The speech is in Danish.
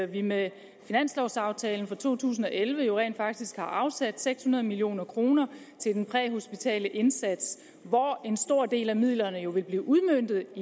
vi med finanslovaftalen for to tusind og elleve jo rent faktisk har afsat seks hundrede million kroner til den præhospitale indsats hvoraf en stor del af midlerne vil blive udmøntet